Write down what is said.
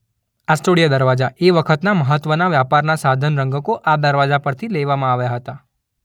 આસ્ટોડિયા દરવાજા એ વખતના મહત્વના વ્યાપારના સાધન રંગકો આ દરવાજા પરથી લેવામાં આવ્યા હતા.